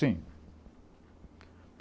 Sim.